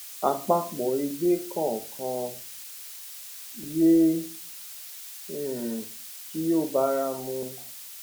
àpapọ egbe kọọkan ye um kí ó báramu